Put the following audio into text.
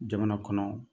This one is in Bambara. Jamana kɔnɔ